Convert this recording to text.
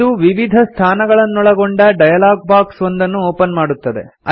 ಇದು ವಿವಿಧ ಸ್ಥಾನಗಳನ್ನೊಳಗೊಂಡ ಡಯಲಾಗ್ ಬಾಕ್ಸ್ ಒಂದನ್ನು ಒಪನ್ ಮಾಡುತ್ತದೆ